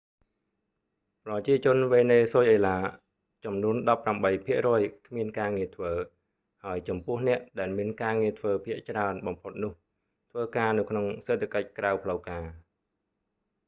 ប្រជាជនវេណេស៊ុយអេឡាចំនួណដប់ប្រាំបីភាគរយ គ្មានការងារធ្វើ ហើយចំពោះអ្នកដែលមានការងារធ្វើភាគច្រើនបំផុតនោះធ្វើការនៅក្នុងសេដ្ឋកិច្ចក្រៅផ្លូវការ